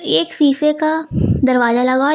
एक शीशे का दरवाजा लगा--